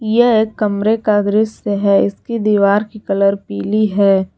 यह एक कमरे का दृश्य है इसकी दीवार की कलर पीली है।